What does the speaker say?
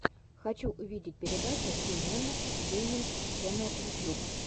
хочу увидеть передача си нэннерс гейминг ченнел ютьюб